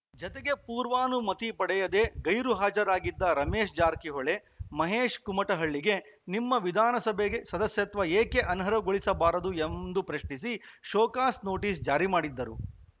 ಜತೆಗೆ ಪೂರ್ವಾನುಮತಿ ಪಡೆಯದೆ ಗೈರು ಹಾಜರಾಗಿದ್ದ ರಮೇಶ್‌ ಜಾರಕಿಹೊಳಿ ಮಹೇಶ್‌ ಕುಮಟಹಳ್ಳಿಗೆ ನಿಮ್ಮ ವಿಧಾನಸಭೆ ಸದಸ್ಯತ್ವ ಏಕೆ ಅನರ್ಹಗೊಳಿಸಬಾರದು ಎಂದು ಪ್ರಶ್ನಿಸಿ ಶೋಕಾಸ್‌ ನೋಟಿಸ್‌ ಜಾರಿ ಮಾಡಿದ್ದರು